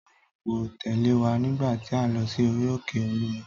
Tóyìn kò tẹ̀lé wa nígbà tí a lọ sí orí òkè Olúmọ